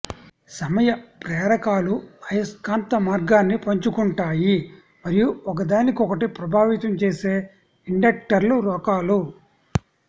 సమయ ప్రేరకాలు అయస్కాంత మార్గాన్ని పంచుకుంటాయి మరియు ఒకదానికొకటి ప్రభావితం చేసే ఇండక్టర్ల రకాలు